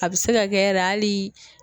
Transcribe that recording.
A bɛ se ka kɛ yɛrɛ hali